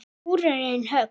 Skúrinn er höll.